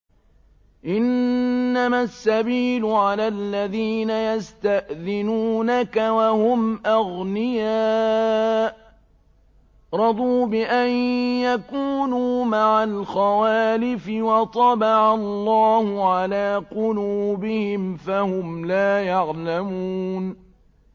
۞ إِنَّمَا السَّبِيلُ عَلَى الَّذِينَ يَسْتَأْذِنُونَكَ وَهُمْ أَغْنِيَاءُ ۚ رَضُوا بِأَن يَكُونُوا مَعَ الْخَوَالِفِ وَطَبَعَ اللَّهُ عَلَىٰ قُلُوبِهِمْ فَهُمْ لَا يَعْلَمُونَ